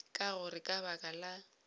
ka gore ka baka la